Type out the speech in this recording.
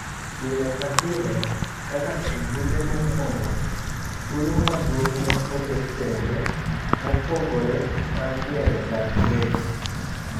Pile ka pile ,kaka ejumbe mokwongo, thuolo maduong' ne oket thenge mopogre mar gero dag weche.